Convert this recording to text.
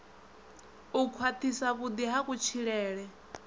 u khwathisa vhudi ha kutshilele